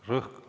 Aitäh!